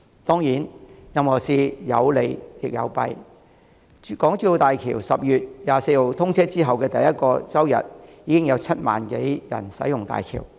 當然，任何事情有利亦有弊，在港珠澳大橋10月24日通車後的第一個周日，已經有7萬多人使用大橋。